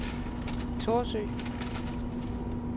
Thorsø